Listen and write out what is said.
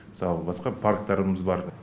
мысалы басқа парктарымыз бар